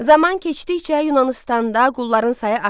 Zaman keçdikcə Yunanıstanda qulların sayı artdı.